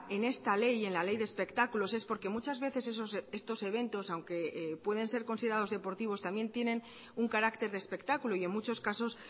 en esta ley y en la ley de espectáculos es porque muchas veces estos eventos aunque pueden ser considerados deportivos también tienen un carácter de espectáculo y en muchos casos